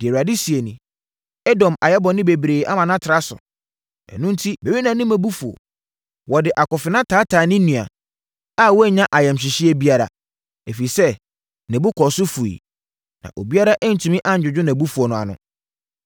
Deɛ Awurade seɛ nie: “Edom ayɛ bɔne bebree ama no atra so, ɛno enti, merennane mʼabufuo. Ɔde akofena taataa ne nua, a wannya ayamhyehyeɛ biara. Ɛfiri sɛ ne bo kɔɔ so fuiɛ na obiara antumi annwodwo nʼabufuo no ano.